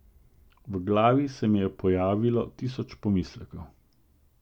V glavi se mi je pojavilo tisoč pomislekov.